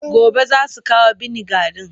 Gobe za su kawo biniga ɗin.